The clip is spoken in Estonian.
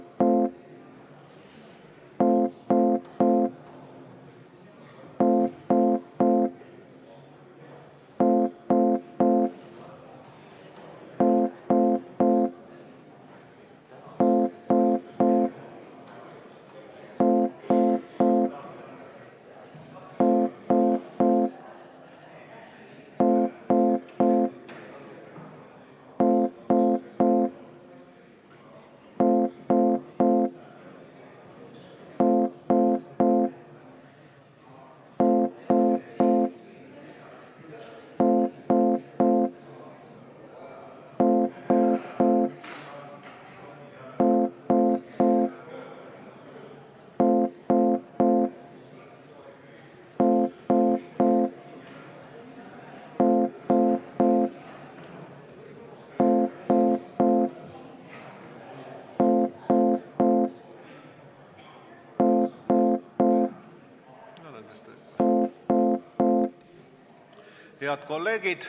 Head kolleegid!